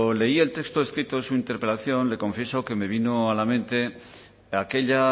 leí el texto escrito en su interpelación le confieso que me vino a la mente aquella